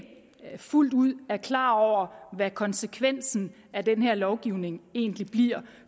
fuldt ud er klare over hvad konsekvensen af den her lovgivning egentlig bliver